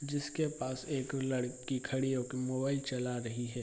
जिसके पास एक लड़की खड़ी होके मोबाइल चला रही है।